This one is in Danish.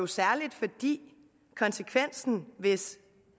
særlig fordi konsekvensen hvis